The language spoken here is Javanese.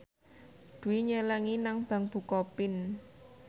Dwi nyelengi nang bank bukopin